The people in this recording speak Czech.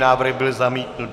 Návrh byl zamítnut.